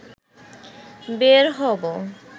বের হবো